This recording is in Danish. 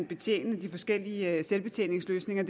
betjene de forskellige selvbetjeningsløsninger